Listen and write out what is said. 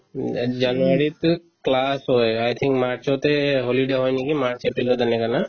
উম, ইয়াত january তো class হয় i think march তে holiday হয় নেকি march april ত এনেকা না